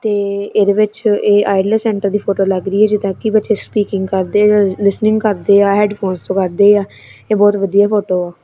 ਤੇ ਇਹਦੇ ਵਿੱਚ ਇਹ ਆਈਲੇਟਸ ਸੈਂਟਰ ਦੀ ਫੋਟੋ ਲੱਗ ਰਹੀ ਆ ਜਿਹ ਕੀ ਬੱਚੇ ਸਪੀਕਿੰਗ ਕਰਦੇ ਰੋਜ ਲਿਸਨਿੰਗ ਕਰਦੇ ਆ ਹੈਡਫੋਨਸ ਤੋਂ ਕਰਦੇ ਆ ਇਹ ਬਹੁਤ ਵਧੀਆ ਫੋਟੋ ਆ।